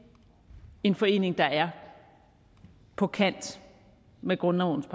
en forening der er på kant med grundlovens